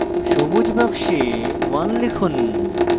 সবুজ box 1 লিখুন